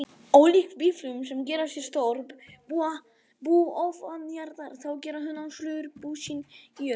Ólíkt býflugum sem gera sér stór bú ofanjarðar, þá gera hunangsflugur bú sín í jörðu.